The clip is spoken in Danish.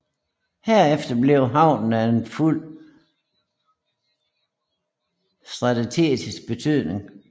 Herefter blev havnen af stor strategisk betydning